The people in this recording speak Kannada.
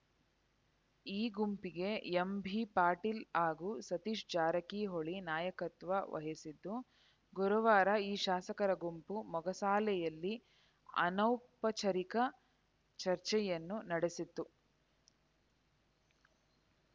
ಈ ಗುಂಪಿಗೆ ಎಂಬಿ ಪಾಟೀಲ್‌ ಹಾಗೂ ಸತೀಶ್‌ ಜಾರಕಿಹೊಳಿ ನಾಯಕತ್ವ ವಹಿಸಿದ್ದು ಗುರುವಾರ ಈ ಶಾಸಕರ ಗುಂಪು ಮೊಗಸಾಲೆಯಲ್ಲಿ ಅನೌಪಚಾರಿಕ ಚರ್ಚೆಯನ್ನು ನಡೆಸಿತು